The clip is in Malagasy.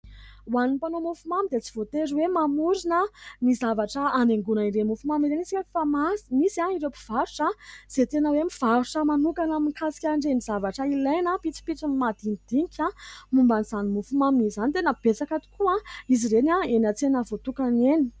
Ho an'ny mpanao mofomamy dia tsy voatery hoe mamorina ny zavatra anaingona irey mofo mamy ireny isika. Fa misy ireo mpivarotra izay tena hoe mivarotra manokana mikasika anireny zavatra ilaina mpitsopitsony madinidinika momban'izany mofomamy izany tena betsaka tokoa izy ireny eny an-tsena voatokany eny.